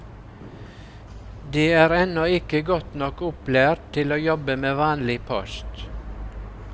De er ennå ikke godt nok opplært til å jobbe med vanlig post.